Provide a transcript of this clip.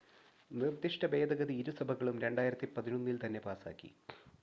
നിർദ്ദിഷ്ട ഭേദഗതി ഇരുസഭകളും 2011-ൽ തന്നെ പാസാക്കി